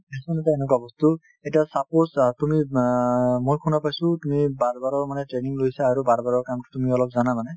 fashion এটা এনেকুৱা বস্তু এতিয়া suppose অ তুমি অ মই শুনা পাইছো তুমি barber ৰৰ মানে training লৈছে আৰু barber ৰৰ কাম তুমি অলপ জানা মানে